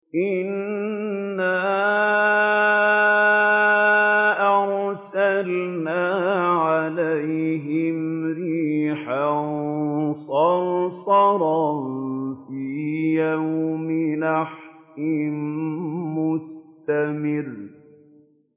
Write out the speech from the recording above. إِنَّا أَرْسَلْنَا عَلَيْهِمْ رِيحًا صَرْصَرًا فِي يَوْمِ نَحْسٍ مُّسْتَمِرٍّ